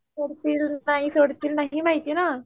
सोडतील नाही सोडतील नाही माहिती ना